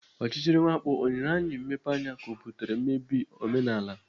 Ọchịchịrị mwakpo ọ nyere anyị mmepeanya ka ọ butere mmebi omenala?